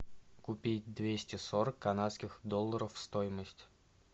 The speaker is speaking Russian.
купить двести сорок канадских долларов стоимость